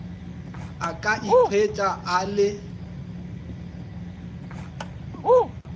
a ka ikhwetša a le